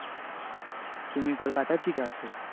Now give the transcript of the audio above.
তুমি কলকাতা থিকে আছো?